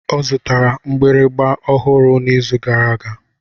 Ọ zụtara mgbịrịgba ọhụrụ n'izu gara aga.